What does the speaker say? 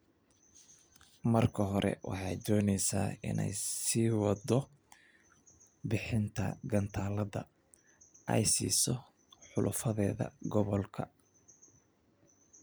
Marka hore, waxay doonaysaa inay sii waddo bixinta gantaallada ay siiso xulafadeeda gobolka.